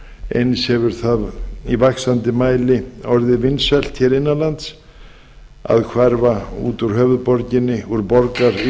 eins hefur það í vaxandi mæli orðið vinsælt hér innan lands að hverfa út úr höfuðborginni úr